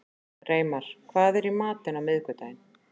Reimar, hvað er í matinn á miðvikudaginn?